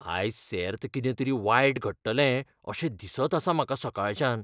आयज सेर्त कितें तरी वायट घडटलें अशें दिसत आसा म्हाका सकाळच्यान.